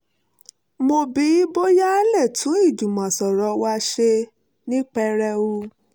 mo bi boya a le tun ijumo soro wa se ni pereu